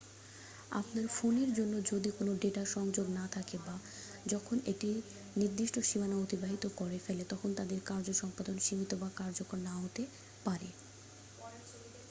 আপনার ফোনের জন্য যদি কোন ডেটা সংযোগ না থাকে বা যখন এটি নির্দিষ্ট সীমানা অতিবাহিত করে ফেলে তখন তাদের কার্য সম্পাদন সীমিত বা কার্যকর না হতে পারে